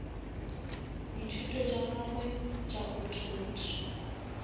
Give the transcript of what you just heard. dithuto tša gagwe tša optometry